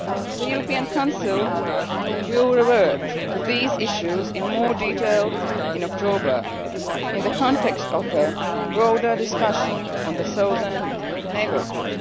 country. The European Council will revert to these issues in more detail in October in the context of a broader discussion on the Southern Neighbourhood.